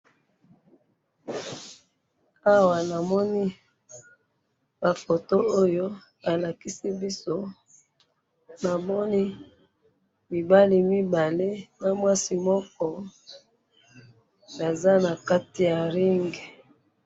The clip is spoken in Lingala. awa na moni ba photo oyo ba lakisi biso mibali mibale na mwasi moko baza na kati ya ring